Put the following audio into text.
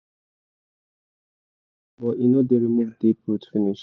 but e no dey remove deep root finish